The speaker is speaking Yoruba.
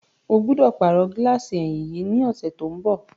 Ó gbọ́dọ̀ pàrọ̀ gíláàsì ẹ̀yìn yìí ní ọ̀sẹ̀ tí ó ń bọ̀.